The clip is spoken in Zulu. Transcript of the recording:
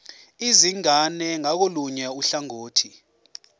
izingane ngakolunye uhlangothi